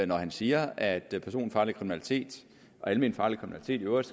når han siger at personfarlig kriminalitet og alment farlig kriminalitet i øvrigt